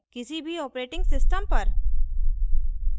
किसी भी operating system पर